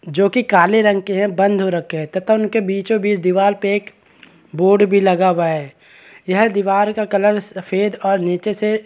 जोकि काले रंग की है बंद हुई रखी है तथा बीचो -बिच दीवाल पे बोर्ड लगा हुआ है यह दीवाल का कलर सफ़ेद और नीचे से --